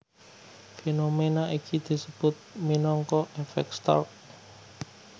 Fénoména iki disebut minangka èfèk Stark